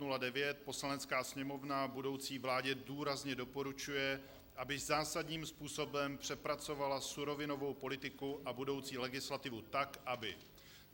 "Poslanecká sněmovna budoucí vládě důrazně doporučuje, aby zásadním způsobem přepracovala surovinovou politiku a budoucí legislativu tak, aby